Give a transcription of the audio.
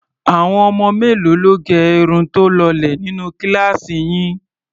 Àwọn ọmọ mélòó ló gẹ irun tó lọlẹ̀ nínú kíláàsì yín?